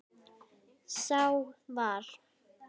Sá var